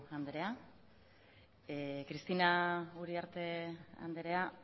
andrea cristina uriarte andrea